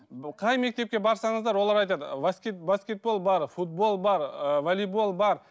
ы қай мектепке барсаңыздар олар айтады баскетбол бар футбол бар ы волейбол бар